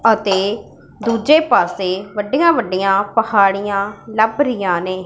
ਅਤੇ ਦੁੱਜੇ ਪਾੱਸੇ ਵੱਡੀਆਂ ਵੱਡੀਆਂ ਪਹਾੜੀਆਂ ਲੱਭ ਰਹੀਆਂ ਨੇਂ।